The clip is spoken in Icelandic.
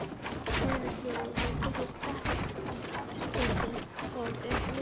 Heimilislífið hefur tekið stakkaskiptum svo að um munar.